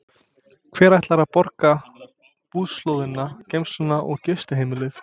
Hver ætlar að borga búslóðina, geymsluna og gistiheimilið?